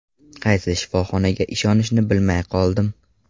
Qaysi shifoxonaga ishonishni bilmay qoldim.